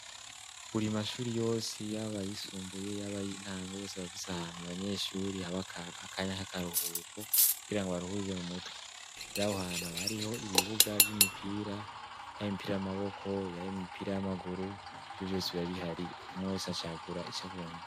Buri mashuri yose yaba ayisumbuye yaba ay'intango, yose aba afise ahantu abanyeshuri haba akanya k'akaruhuko, kugira ngo baruhurire mu mutwe. Rero aho hantu bariho ibibuga vy'imipira, yaba imipira y'amaboko, yaba imipira y'amaguru, ivyo vyose biba bihari, umwe wese acagura ico agomba.